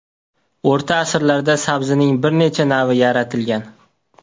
O‘rta asrlarda sabzining bir necha navi yaratilgan.